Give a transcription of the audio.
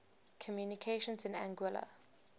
communications in anguilla